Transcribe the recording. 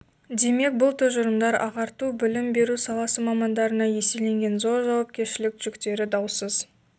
демек бұл тұжырымдар ағарту білім беру саласы мамандарына еселенген зор жауапкершілік жүктері даусыз